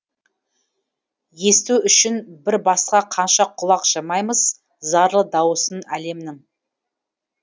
есту үшін бір басқа қанша құлақ жамаймыз зарлы дауысын әлемнің